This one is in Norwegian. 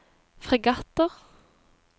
fregatter